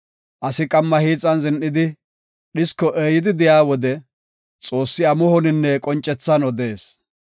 Asi qamma hiixan zin7idi, dhisko eeyidi de7iya wode, Xoossi amuhoninne qoncethan odees.